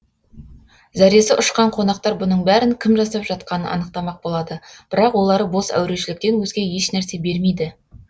зәресі ұшқан қонақтар бұның бәрін кім жасап жатқанын анықтамақ болады бірақ олары бос әурешіліктен өзге еш нәрсе бермейді